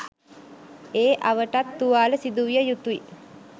ඒ අවටත් තුවාල සිදුවිය යුතුයි.